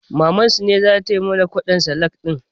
Mamansu ce zata mana kwaɗon salak ɗin